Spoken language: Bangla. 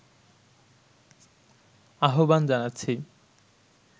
আহ্বান জানাচ্ছি